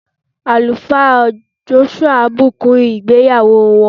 alufa Joshua bukun igbeyawo wọn.